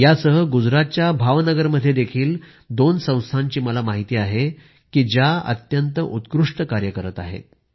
यासह गुजरातच्या भावनगरमध्येही दोन संस्थांची मला माहिती आहे की ज्या अत्यंत उत्कृष्ट कार्य करत आहेत